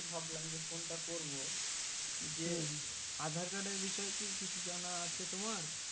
ভাবলাম যে phone টা করবো যে aadhar card এর বিষয়ে কি কিছু জানা আছে তোমার?